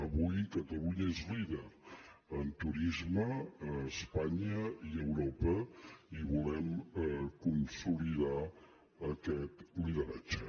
avui catalunya és líder en turisme a es·panya i a europa i volem consolidar aquest lideratge